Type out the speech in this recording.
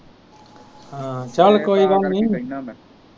ਹਮ ਚੱਲ ਕੋਈ ਗੱਲ ਨਹੀ।